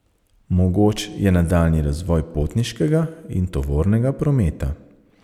Mogoč je nadaljnji razvoj potniškega in tovornega prometa.